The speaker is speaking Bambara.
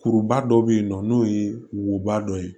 Kuruba dɔ bɛ yen nɔ n'o ye woba dɔ ye